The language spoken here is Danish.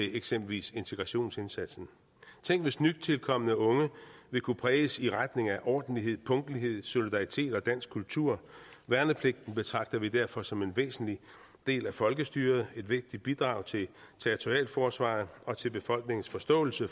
eksempelvis integrationsindsatsen tænk hvis nytilkomne unge vil kunne præges i retning af ordentlighed punktlighed solidaritet og dansk kultur værnepligten betragter vi derfor som en væsentlig del af folkestyret et vigtigt bidrag til territorialforsvaret og til befolkningens forståelse